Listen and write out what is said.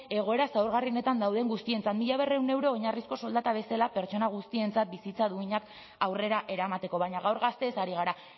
egoera zaurgarrienetan dauden guztientzat mila berrehun euro oinarrizko soldata bezala pertsona guztientzat bizitza duinak aurrera eramateko baina gaur gazteez ari gara